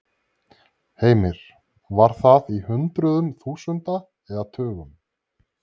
Heimir: Var það í hundruðum þúsunda eða tugum?